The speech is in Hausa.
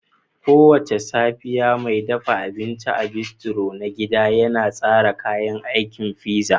Kowace safiya, mai dafa abinci a bistro na gida yana tsara kayan aikin pizza